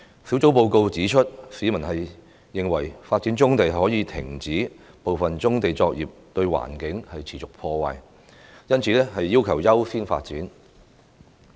小組報告指出，市民認為發展棕地可以停止部分棕地作業對環境持續破壞，因此要求優先發展。